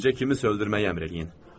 Bircə kimi öldürməyi əmr eləyin.